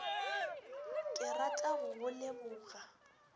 ke rata go go leboga